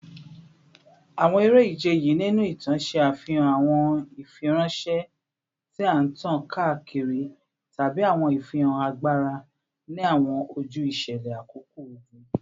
Awọn ere-ije yii ninu itan ṣe afihan awọn ifiranšẹ ti a tan kaakiri tabi awọn ifihan agbara ni awọn oju iṣẹlẹ akoko ogun